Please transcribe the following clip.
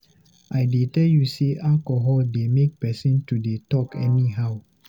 I dey tell you sey alcohol dey make pesin to dey talk anyhow.